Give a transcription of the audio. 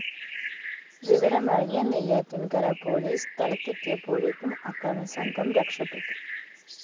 വിവരമറിഞ്ഞ് നെയ്യാറ്റിന്‍കര പോലീസ് സ്ഥലത്തെത്തിയപ്പോഴേക്കും അക്രമി സംഘം രക്ഷപ്പെട്ടു